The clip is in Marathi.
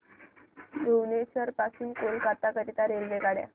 भुवनेश्वर पासून कोलकाता करीता रेल्वेगाड्या